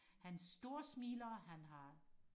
han stor smiler han har